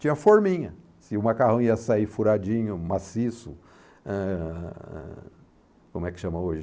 Tinha forminha, se o macarrão ia sair furadinho, maciço, eh... como é que chama hoje?